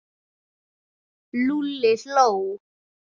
Lúlli hló.